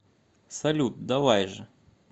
салют давай же